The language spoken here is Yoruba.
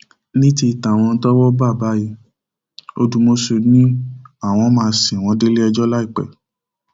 ní ti àwọn tọwọ bá yìí ọdùmọṣù ni àwọn máa sìn wọn déléẹjọ láìpẹ